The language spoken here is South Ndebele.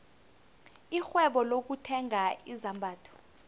irhwebo lokuthenga izambatho